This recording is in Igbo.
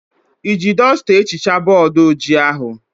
Iji dọsta ehichaa bọọdụ ojii ahụ?